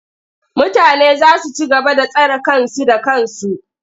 Mutane za su ci gaba da tsare kansu da kansu.